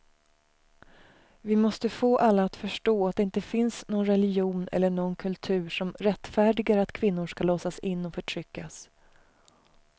Vi måste få alla att förstå att det inte finns någon religion eller någon kultur som rättfärdigar att kvinnor ska låsas in och förtryckas.